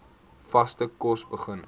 vaste kos begin